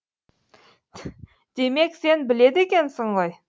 демек сен біледі екенсің ғой